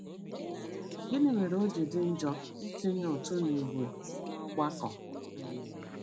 Gịnị mere o ji dị njọ ịtụnye ụtụ n'ìgwè n'ọgbakọ? um